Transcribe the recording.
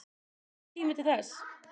Gefst tími til þess?